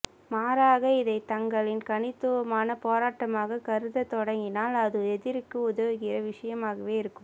மாறாக இதை தங்களின் தனித்துவமான போராட்டமாக கருதத் தொடங்கினால் அது எதிரிக்கு உதவுகிற விஷயமாகவே இருக்கும்